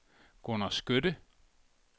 Gunnar Skytte